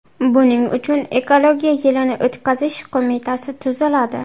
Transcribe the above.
Buning uchun ekologiya yilini o‘tkazish qo‘mitasi tuziladi.